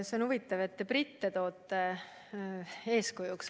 See on huvitav, et toote eeskujuks britte.